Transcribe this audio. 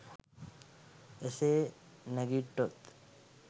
එසේ නැඟිට්ටොත්